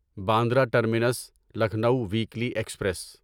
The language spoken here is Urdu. Bandra terminus Lucknow weekly express